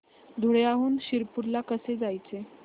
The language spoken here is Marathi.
धुळ्याहून शिरपूर ला कसे जायचे